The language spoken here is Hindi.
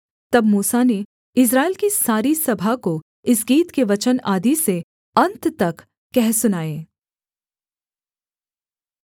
तब मूसा ने इस्राएल की सारी सभा को इस गीत के वचन आदि से अन्त तक कह सुनाए